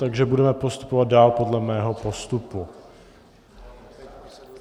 Takže budeme postupovat dál podle mého postupu.